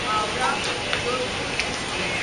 Howrah Jodhpur express